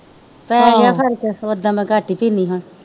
ਪੈ ਗਿਆ ਫਰਕ ਓਦਾਂ ਮੈ ਕੱਟ ਹੀ ਪੀਣੀ ਹੁਣ।